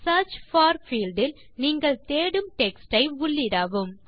search for field இல் நீங்கள் தேடும் டெக்ஸ்ட் ஐ உள்ளிடவும்